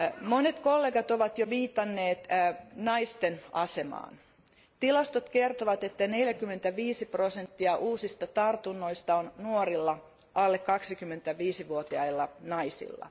Monet kollegat ovat jo viitanneet naisten asemaan. Tilastot kertovat, että 45 prosenttia uusista tartunnoista on nuorilla alle 25 vuotiailla naisilla.